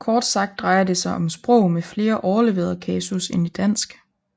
Kort sagt drejer det sig om sprog med flere overleverede kasus end i dansk